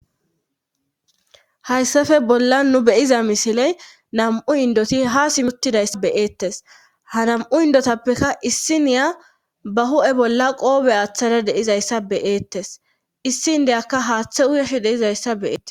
Hayssafe bolla nu beyiza misiley nam7u indoti ha simuttidayssa beyeettes ha nam7u indotappekka issi niya ba hu7e bolla qoobe aaththada deizayssa beyeettes issi indeyakka haaththe uyesh deizayssa beees